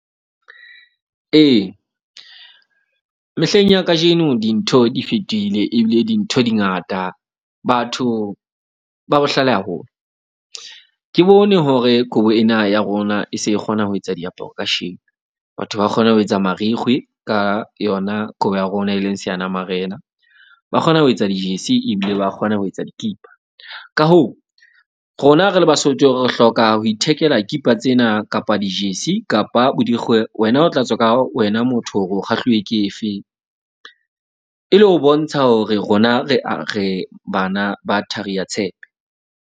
Ee, mehleng ya kajeno dintho di fetohile. Ebile dintho di ngata batho ba bohlale haholo. Ke bone hore kobo ena ya rona e se e kgona ho etsa diaparo kasheno. Batho ba kgona ho etsa marikgwe ka yona kobo ya rona e leng seanamarena. Ba kgona ho etsa dijesi ebile ba kgona ho etsa dikipa. Ka hoo, rona re le Basotho re hloka ho ithekela kipa tsena kapa dijesi kapa bodikgwe. Wena o tla tswa ka wena motho hore o kgahluwe ke efeng. E le ho bontsha hore rona re a re bana ba thari ya tshepe.